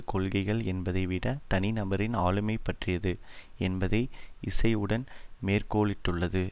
கொள்கைகள் என்பதை விட தனிநபரின் ஆளுமை பற்றியது என்பதை இசைவுடன் மேற்கோளிட்டுள்ளது